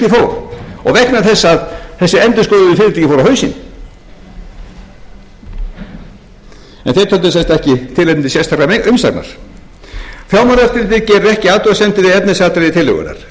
vegna þess að þessi endurskoðuðu fyrirtæki fóru á hausinn en þeir töldu sem sagt ekki tilefni til sérstakrar umsagnar fjármálaráðuneytið gerir ekki athugasemdir við efnisatriði tillögunnar